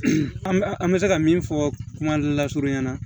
An bɛ se ka min fɔ kuma lasurunya ɲɛna